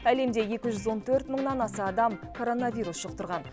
әлемде екі жүз он төрт мыңнан аса адам коронавирус жұқтырған